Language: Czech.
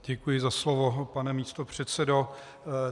Děkuji za slovo, pane místopředsedo.